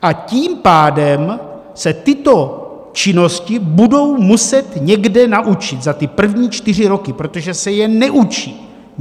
A tím pádem se tyto činnosti budou muset někde naučit za ty první čtyři roky, protože se je neučí.